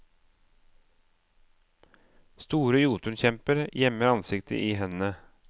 Store jotunkjemper gjemmer ansiktet i hendene.